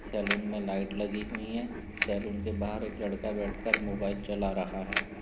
Salon में light लगीं हुई हैं। सलून के बाहर एक लड़का बैठकर मोबाइल चला रहा है।